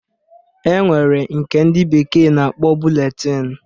E nwere nke ndị bekee na-akpọ buletin